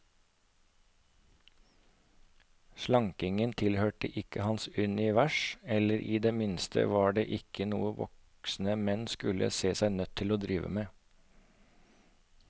Slankingen tilhørte ikke hans univers, eller i det minste var det ikke noe voksne menn skulle se seg nødt til å drive med.